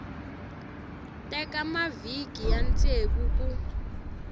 teka mavhiki ya ntsevu ku